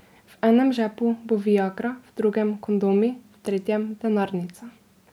V enem žepu bo viagra, v drugem kondomi, v tretjem denarnica.